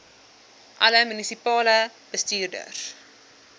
alle munisipale bestuurders